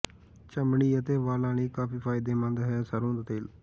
ਚਮੜੀ ਅਤੇ ਵਾਲਾਂ ਲਈ ਕਾਫੀ ਫਾਇਦੇਮੰਦ ਹੈ ਸਰੋਂ ਦਾ ਤੇਲ